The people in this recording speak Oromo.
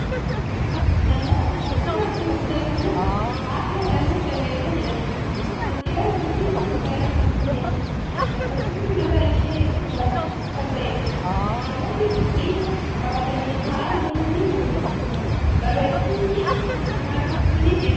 Namoota fuuldura teessee kan jirtu aadde Adaanach Abeebee jedhamti. Kaantiibaa bulchiinsa magaalaa Finfinneeti. Dabbasaan mataa ishee gurraacha kan ta'eedha. Namootni tartiiba qabatanii taa'aa jiran ni jiru. Barreeffamni afaan Amaariffaa ni jira.